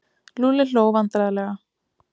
Lúlli hló vandræðalega.